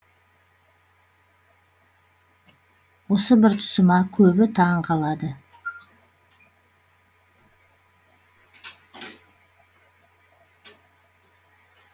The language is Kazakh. осы бір тұсыма көбі таң қалады